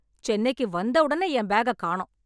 சென்னைக்கு வந்தவுடன என் பேக்க காணோம்.